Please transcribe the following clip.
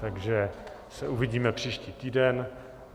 Takže se uvidíme příští týden.